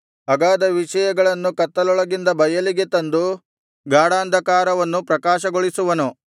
ಅಗಾಧ ವಿಷಯಗಳನ್ನು ಕತ್ತಲೊಳಗಿಂದ ಬಯಲಿಗೆ ತಂದು ಗಾಢಾಂಧಕಾರವನ್ನು ಪ್ರಕಾಶಗೊಳಿಸುವನು